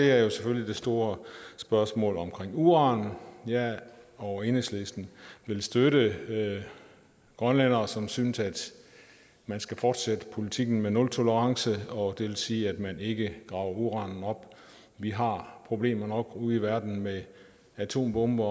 er selvfølgelig det store spørgsmål om uran jeg og enhedslisten vil støtte grønlændere som synes at man skal fortsætte politikken med nultolerance og det vil sige at man ikke graver uranen op vi har problemer nok ude i verden med atombomber